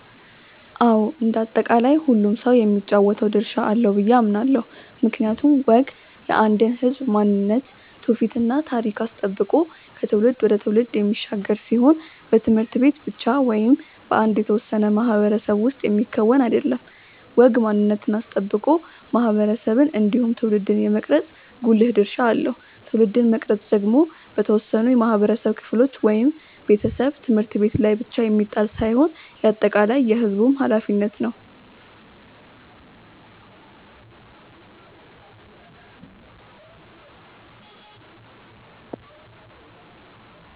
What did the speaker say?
አዎ እንደ አጠቃላይ ሁሉም ሰው የሚጫወተው ድርሻ አለው ብዬ አምናለው። ምክንያቱም ወግ የአንድን ህዝብ ማንነት ትውፊት እና ታሪክ አስጠብቆ ከትውልድ ወደ ትውልድ የሚሻገር ሲሆን በት/ቤት ብቻ ወይም በአንድ የተወሰነ ማህበረሰብ ውስጥ የሚከወን አይደለም። ወግ ማንነትን አስጠብቆ ማህበረሰብን እንዲሁም ትውልድን የመቅረጽ ጉልህ ድርሻ አለው። ትውልድን መቅረጽ ደግሞ በተወሰኑ የማህበረሰብ ክፍሎች (ቤተሰብ፣ ት/ቤት) ላይ ብቻ የሚጣል ሳይሆን የአጠቃላይ የህዝቡም ኃላፊነት ነው።